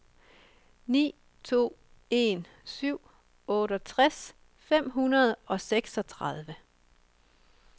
ni to en syv otteogtres fem hundrede og seksogtredive